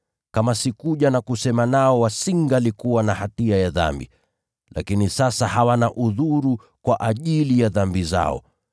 Kama sikuja na kusema nao wasingalikuwa na hatia ya dhambi. Lakini sasa hawana udhuru kwa ajili ya dhambi zao.